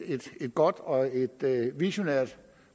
godt og visionært